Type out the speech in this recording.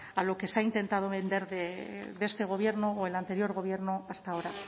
a lo que se ha intentado vender de este gobierno o el anterior gobierno hasta ahora